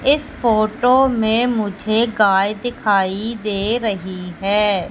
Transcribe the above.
इस फोटो में मुझे गाय दिखाई दे रही है।